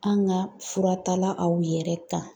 An ka fura tala aw yɛrɛ kan